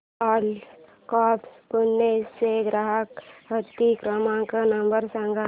ओला cabs Pune चा ग्राहक हित क्रमांक नंबर सांगा